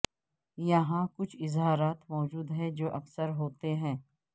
یہاں کچھ اظہارات موجود ہیں جو اکثر ہوتے ہیں